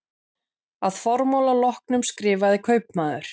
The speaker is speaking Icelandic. Að formála loknum skrifaði kaupmaður